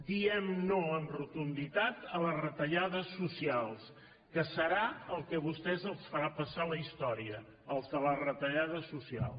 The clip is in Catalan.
diem no amb rotunditat a les retallades socials que serà el que a vostès els farà passar a la història els de la retallada social